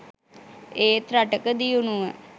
ඒත් රටක දියුණුව